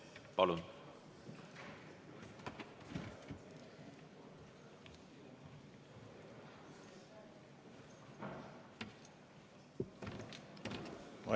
Palun!